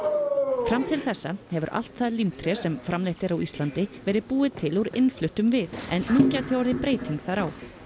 fram til þessa hefur allt það sem framleitt er á Íslandi verið búið til úr innfluttum við en nú gæti orðið breyting þar á